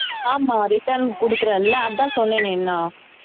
ஆமா return கொடுக்கிறேன்ல அதான் சொன்னேனேன்னா